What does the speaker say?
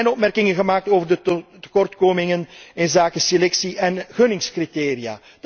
Er zijn opmerkingen gemaakt over de tekortkomingen inzake selectie en gunningscriteria.